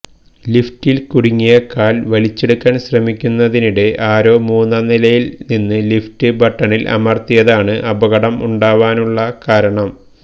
ലിഫ്റ്റിൽ കുടുങ്ങിയ കാല് വലിച്ചെടുക്കാന് ശ്രമിക്കുന്നതിനിടെ ആരോ മൂന്നാം നിലയില് നിന്ന് ലിഫ്റ്റ് ബട്ടണില് അമര്ത്തിയതാണ് അപകടം ഉണ്ടാവാനുള്ള കാരണം